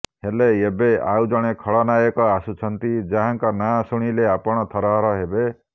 ହେଲେ ଏବେ ଆଉଜଣେ ଖଳନାୟକ ଆସୁଛନ୍ତି ଯାହାଙ୍କ ନାଁ ଶୁଣିଲେ ଆପଣ ଥରହର ହେବେ